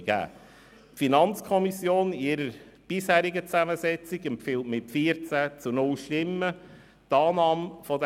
Die FiKo in ihrer bisherigen Zusammensetzung empfiehlt mit 14 zu 0 Stimmen die Annahme